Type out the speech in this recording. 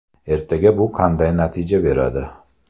Ertaga bu qanday natija beradi?